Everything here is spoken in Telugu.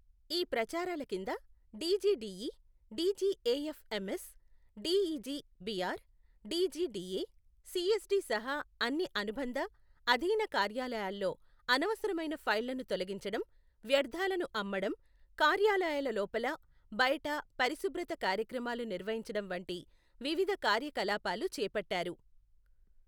ఈ ప్రచారాల కింద DGDE, DGAFMS, DEGBR, DGDA, CSD సహా అన్ని అనుబంధ, అధీన కార్యాలయాల్లో అనవసరమైన ఫైళ్లను తొలగించడం, వ్యర్థాలను అమ్మడం, కార్యాలయాల లోపల, బయట పరిశుభ్రత కార్యక్రమాలు నిర్వహించడం వంటి వివిధ కార్యకలాపాలు చేపట్టారు.